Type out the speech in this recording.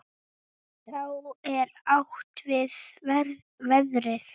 Þá er átt við veðrið.